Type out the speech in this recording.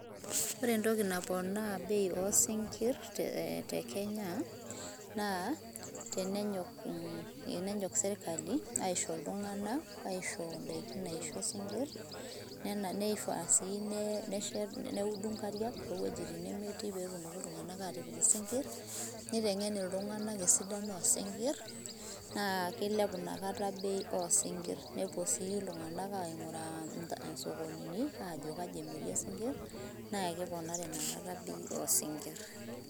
Ore entoki naponaa bei oosinkirr te Kenya naa tenenyok sirkali aisho iltung'anak, aisho indaiki naisho isinkirr neifaa sii neudu inkariak toowuejitin nemetii pee etumoki iltung'anak aatipik isinkirr, neiteng'en iltung'anak esidano oosinkirr naa kilepu inakata bei oo sinkirr. Nepuo sii iltung'anak aaing'uraa isokonini ajo kaji emirei isinkirr naa keponari inakata bei oo sinkirr.